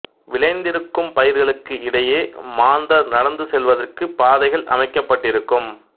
விளைந்திருக்கும் பயிர்களுக்கு இடையே மாந்தர் நடந்து செல்வதற்கு பாதைகள் அமைக்கபட்டிருக்கும்